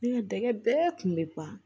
Ne ka dɛgɛ bɛɛ kun bɛ ban